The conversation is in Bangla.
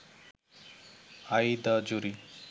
I the jury